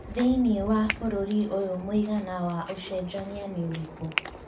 thĩni wa bũrũri ũyũ mũigana wa ũcejania nĩ ũrikũ